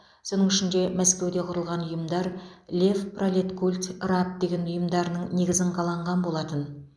соның ішінде мәскеуде құрылған ұйымдар лев пролеткульт раб деген ұйымдарының негізін қаланған болатын